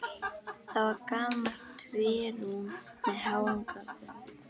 Það var gamalt trérúm með háum göflum.